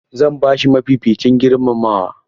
Zan ba shi mafificin girmamawa.